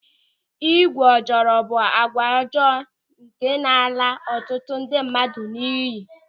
Ịgwu ojoro bụ àgwà ọjọọ nke na-ala ọtụtụ ndị mmadụ n'iyi.